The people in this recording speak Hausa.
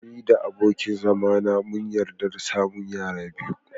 Ni da abokin zama na mun yarda da samun yara biyu.